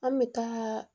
An bɛ taa